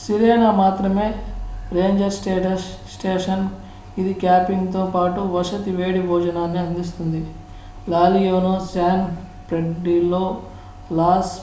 Sirena మాత్రమే ranger station ఇది camping తో పాటు వసతి వేడి భోజనాన్ని అందిస్తుంది La Leona San Pedrillo loss